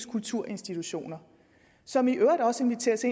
og kulturinstitutioner som i øvrigt også inviteres